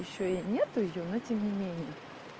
ещё и нет её но тем не менее